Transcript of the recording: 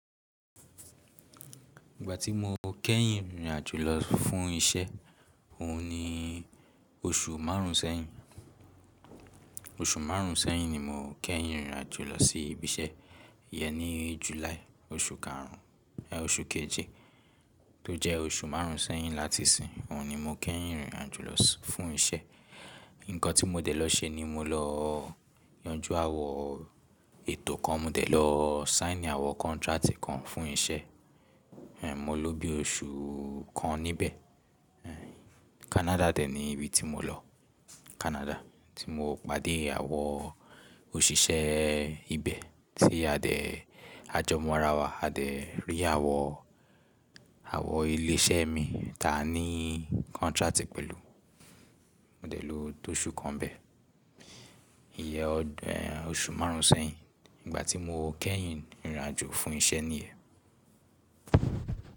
Ìgbà tí mo kẹ́yìn rìn ìrìn àjò lọ fún isẹ́, òhun ni oṣù maárùn sẹ́yìn. Oṣù máarùn sẹ́yìn ni mo kẹ́yìn rìn ìrìn àjò lọ sí ibi iṣẹ́. Iyẹn ní July, oṣù kaarùn ẹ oṣù keje tó jẹ́ oṣù máarùn sẹ́yìn láti ìsìn, òhun ni mo kẹ́yìn rìn ìrìn àjò lọ fún isẹ́. Ǹkan tí mo dẹ̀ lọ ṣe ni mo lọ yanjú awọ ètò kan, mo dẹ̀ lọ sihn awọn contract kan fún isẹ́. Ehn, mo ló bí oṣù kan níbẹ̀. Ehn, Canada dẹ̀ ni ibi tí mo lọ. Canada tí mo pàdé àwọn òṣìṣẹ́ ibẹ̀ tí a dẹ̀ a jọ mọ́ ara wa, a dẹ̀ rí àwọn, àwọn ilé iṣẹ́ mii ti a ni contract pẹ̀lú. Mo dẹ̀ ló tó oṣù kan nibẹ̀. Iyẹn, oṣù máarùn sẹ́yìn. Igbà tí mo kẹ́yìn rìn ìrìn àjò fún isẹ́ níyẹn.